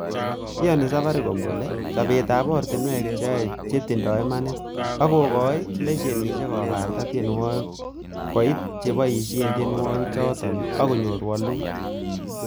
Iyoni safaricom kole chobetab oratinwek cheyoe chetindoi imanit ak kokoitoi lesenisiek kobarta tienwogik koit cheboishen tienwogikchoton ak konyor woluut.